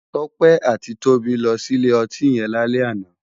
Tope àtí Tobi lò si ilé òtín yèn lálè àná